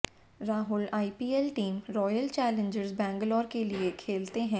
Rahul IPL team Royal Challengers Bangalore के लिए खेलते हैं